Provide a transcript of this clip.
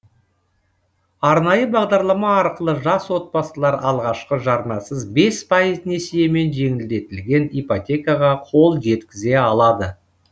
арнайы бағдарлама арқылы жас отбасылар алғашқы жарнасыз бес пайыз несиемен жеңілдетілген ипотекаға қол жеткізе алады